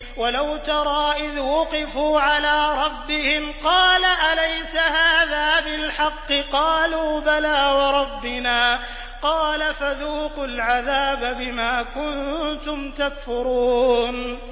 وَلَوْ تَرَىٰ إِذْ وُقِفُوا عَلَىٰ رَبِّهِمْ ۚ قَالَ أَلَيْسَ هَٰذَا بِالْحَقِّ ۚ قَالُوا بَلَىٰ وَرَبِّنَا ۚ قَالَ فَذُوقُوا الْعَذَابَ بِمَا كُنتُمْ تَكْفُرُونَ